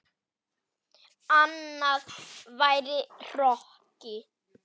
Annað væri hroki.